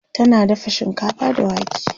tana dafa shinkafa da wake